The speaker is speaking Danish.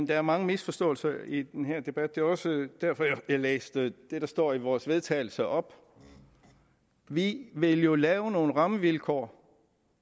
der er mange misforståelser i den her debat det er også derfor at jeg læste det der står i vores vedtagelse op vi vil jo lave nogle rammevilkår